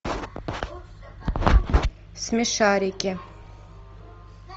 смешарики